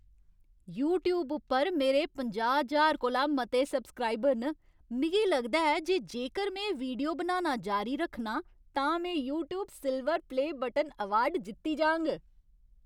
YouTube उप्पर मेरे पंजाह् ज्हार कोला मते सब्सक्राइबर न। मिगी लगदा ऐ जे जेकर में वीडियो बनाना जारी रक्खना तां में "YouTube silver play button" award जित्ती जाङ।